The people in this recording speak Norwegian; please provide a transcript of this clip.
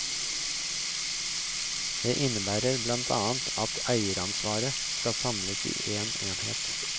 Det innebærer blant annet at eieransvaret skal samles i én enhet.